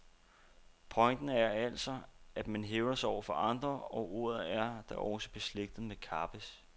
Pointen er altså, at man hævder sig over for andre, og ordet er da også beslægtet med at kappes.